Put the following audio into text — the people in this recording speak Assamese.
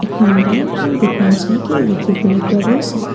এখন বাইক আৰু দুখন চাইকেল দেখিবলৈ পোৱা গৈছে।